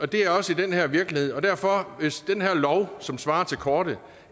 det også i den her virkelighed og derfor hvis den her lov som svarer til kortet